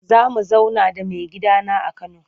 Za mu zauna da maigidana a Kano.